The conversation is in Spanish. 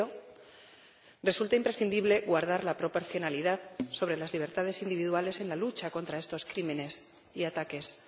Pero resulta imprescindible guardar la proporcionalidad sobre las libertades individuales en la lucha contra estos crímenes y ataques.